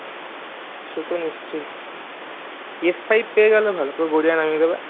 সে তো নিশ্চয়ই five পেয়ে গেলে ভালো পুরো গড়িয়া নামিয়ে দেবে